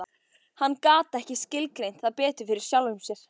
Hann gat ekki skilgreint það betur fyrir sjálfum sér.